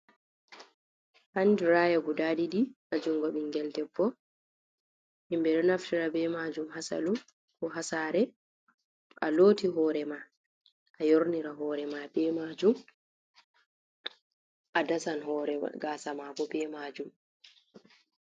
Handiraya guda ɗiɗi ha jungo ɓingel debbo, himɓe ɗo naftira be majum ha salum, ko ha sare to a loti hore ma a yornira hore ma be majum, a dasan hore gasa mabo be majum.